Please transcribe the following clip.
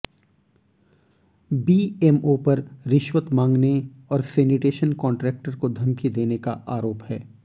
BMO पर रिश्वत मांगने और सेनिटेशन कान्ट्रेक्टर को धमकी देने का आरोप है